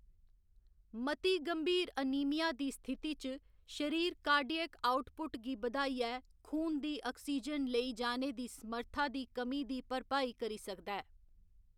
मती गंभीर अनीमिया दी स्थिति च, शरीर कार्डियक आउटपुट गी बधाइयै खून दी आक्सीजन लेई जाने दी समर्था दी कमी दी भरपाई करी सकदा ऐ।